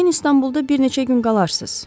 Yəqin İstanbulda bir neçə gün qalarsız.